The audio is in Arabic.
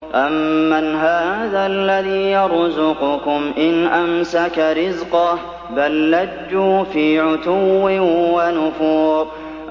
أَمَّنْ هَٰذَا الَّذِي يَرْزُقُكُمْ إِنْ أَمْسَكَ رِزْقَهُ ۚ بَل لَّجُّوا فِي عُتُوٍّ وَنُفُورٍ